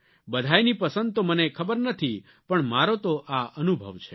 બધાયની પસંદ તો મને ખબર નથી પણ મારો તો આ અનુભવ છે